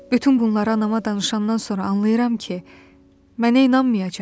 Bütün bunları anama danışandan sonra anlayıram ki, mənə inanmayacaq.